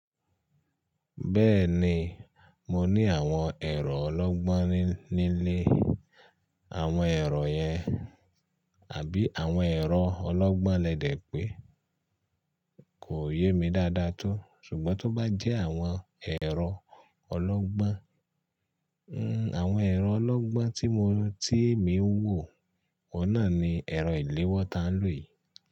Bẹ́ẹ̀ni, mo ní àwọn ẹ̀rọ ọlọ́gbọ́n nílé. Àwọn ẹ̀rọ yẹn àbí àwọn ẹ̀rọ ọlọ́gbọ́n lẹ́dè pé kò yé mi dáadáa tó ṣùgbọ́n tó bá jẹ́ àwọn ẹ̀rọ ọlọ́gbọ́n, nn àwọn ẹ̀rọ ọlọ́gbọ́n tí mo tíì emi ń wò, oun náà ni ẹ̀rọ ìléwọ́ ta ń lò yìí.